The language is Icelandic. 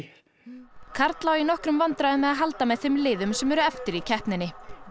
karl á því í nokkrum vandræðum með að halda með þeim liðum sem eru eftir í keppninni ætli